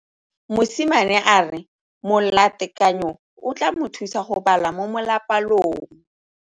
Mosimane a re molatekanyô o tla mo thusa go bala mo molapalong.